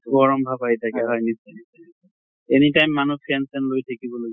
গৰম ভাৱ আহি থাকে, হয় নিশ্চয় । any time মানুহ fan চেন লৈ থাকিব